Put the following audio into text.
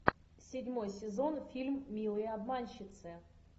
седьмой сезон фильм милые обманщицы